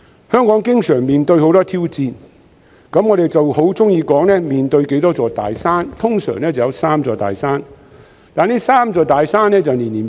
香港經常面對很多挑戰，我們喜歡說成面對多少座大山，通常會有三座大山，但這三座大山會年年改變。